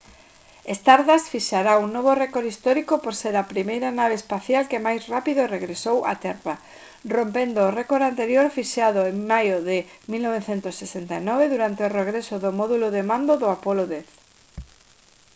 stardust fixará un novo récord histórico por ser a primeira nave espacial que máis rápido regresou á terra rompendo o récord anterior fixado en maio de 1969 durante o regreso do módulo de mando do apollo x